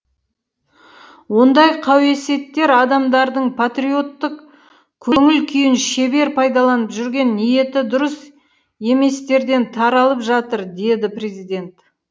ондай қауесеттер адамдардың патриоттық көңіл күйін шебер пайдаланып жүрген ниеті дұрыс еместерден таралып жатыр деді президент